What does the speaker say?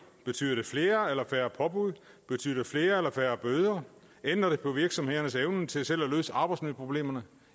betyder det flere eller færre påbud betyder det flere eller færre bøder ændrer det på virksomhedernes evne til selv at løse arbejdsmiljøproblemerne